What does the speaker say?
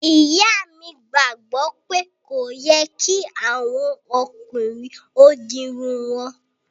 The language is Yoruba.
Ìyà mi gbagbo pé kò yẹ̀ kí àwọn ọ̀kùnrin o dì irùn wọn.